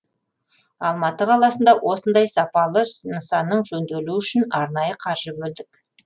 алматы қаласында осындай сапалы нысанның жөнделуі үшін арнайы қаржы бөлдік